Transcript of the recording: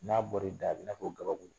N'a bɔri da , a b'i nafɔ k'o gabakuru.